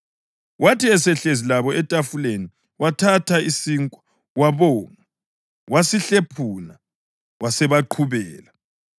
Wathi esehlezi labo etafuleni wathatha isinkwa wabonga, wasesihlephuna wasebaqhubela.